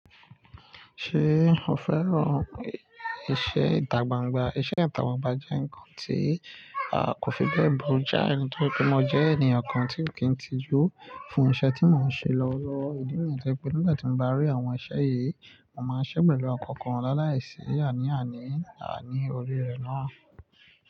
Ṣé o fẹ́ràn iṣẹ́ ìtágbàǹgbà? Iṣẹ́ ìdágbàǹgbà jẹ́ nǹkan tí a kò fi bẹ́ẹ̀ burú. Jáà ni tọ pé mo jẹ́ ènìyàn kan tí n kì í tijú fún iṣẹ́ tí mò ń ṣe lọ́wọ́lowo. Ìdí mi ni pé nígbà tí mo bá rí àwọn iṣẹ́ yìí, màá ṣẹ́ pẹ̀lú ọ̀kọ̀ọ̀kan láàláìsí àní àní àní orí rẹ̀ náà.